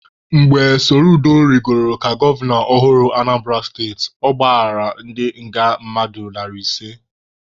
Mgbe Soludo rigoro ka gọvanọ ọhụrụ Anambara steti, ọ gbaghara ndị nga mmadụ narị ise.